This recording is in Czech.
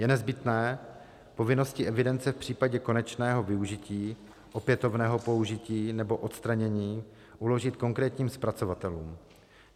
Je nezbytné povinnosti evidence v případě konečného využití, opětovného použití nebo odstranění uložit konkrétním zpracovatelům.